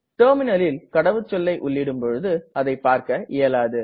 Terminalல் கடவுச்சொல்லை உள்ளிடும் பொழுது அதை பார்க இயலாது